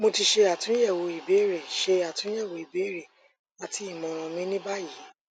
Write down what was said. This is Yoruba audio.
mo ti ṣe atunyẹwo ibeere ṣe atunyẹwo ibeere rẹ ati imọran mi ni bayi